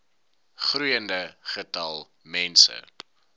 groeiende getal mense